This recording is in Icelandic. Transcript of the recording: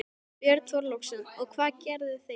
Björn Þorláksson: Og hvað gerðu þið?